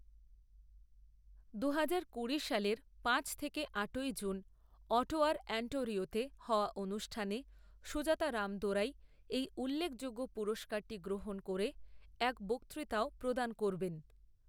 দুহাজার কুড়ি সালের পাঁচ থেকে আটই জুন অটোয়ার অন্টোরিয়োতে হওয়া অনুষ্ঠানে সুজাতা রামদোরাই এই উল্লেখযোগ্য পুরস্কারটি গ্ৰহণ করে এক বক্তৃতাও প্ৰদান করবেন।